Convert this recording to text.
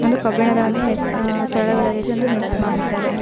ಒಂದು ಕಬ್ಬಿಣದ ಒಂದು ಮೆಸ್ ಆಹ್ ಸರಳುಗಳ ರೀತಿ ಒಂದು ಮೆಸ್ ಮಾಡಿದ್ದಾರೆ.